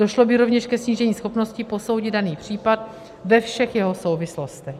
Došlo by rovněž ke snížení schopnosti posoudit daný případ ve všech jeho souvislostech.